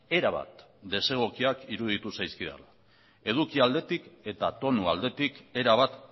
erabat desegokiak iruditu zaizkidala eduki aldetik eta tonu aldetik erabat